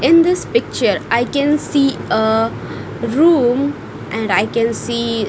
in this picture I can see ah room and I can see--